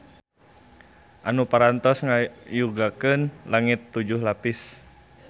Anu parantos ngayugakeun langit tujuh lapis.